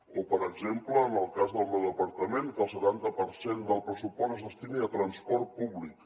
o per exemple en el cas del meu departament que el setanta per cent del pressupost es destini a transport públic